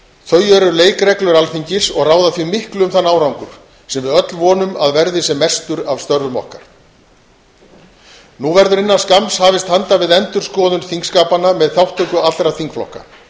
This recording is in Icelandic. þau eru leikreglur alþingis og ráða því miklu um þann árangur sem við öll vonum að verði sem mestur af störfum okkar innan skamms verður hafist handa við endurskoðun þingskapanna með þátttöku allra þingflokka